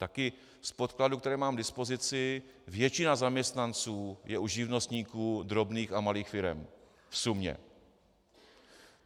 Taky z podkladů, které mám k dispozici, většina zaměstnanců je u živnostníků drobných a malých firem - v sumě.